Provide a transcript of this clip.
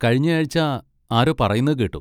കഴിഞ്ഞയാഴ്ച ആരോ പറയുന്നത് കേട്ടു.